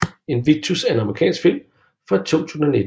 Invictus er en amerikansk film fra 2009